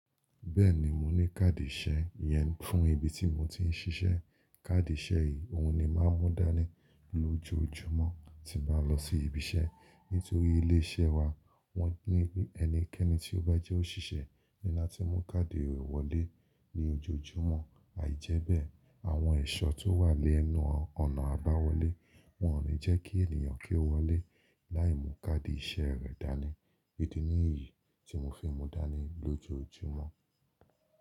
Bẹ́ẹ̀ni, mo ní káàdì ìṣe yẹn fún ibi tí mo ti ń ṣiṣẹ́. Káàdì ìṣe yìí, òhun ni màá mú dání lójoojúmọ́ tín baá lọ sí ibi iṣẹ́. Nítorí ilé iṣẹ́ wa wọ́n ní ẹnikẹ́ni tí ó bá jẹ́ óṣìṣẹ́ níláti mú káàdì rẹ̀ wọlé ní ojoojúmọ́. Àìjẹ́bẹ́ àwọn ẹ̀ṣọ́ tó wà lẹ́nu ọ̀nà àbáwọlé, wọn ò ní jẹ́ kí ènìyàn kí ó wọlé láì mú káàdì iṣẹ́ rẹ̀ dání. Idi nìyí tí mo fi ń mú dání lójoojúmọ́.